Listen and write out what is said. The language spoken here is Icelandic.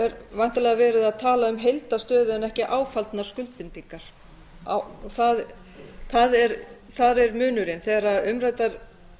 er væntanlega verið að tala um heildarstöðu en ekki áfallnar skuldbindingar þar er munurinn þegar umræddar